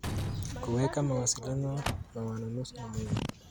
Kuweka mawasiliano na wanunuzi ni muhimu.